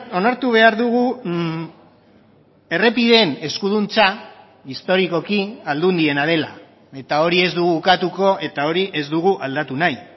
onartu behar dugu errepideen eskuduntza historikoki aldundiena dela eta hori ez dugu ukatuko eta hori ez dugu aldatu nahi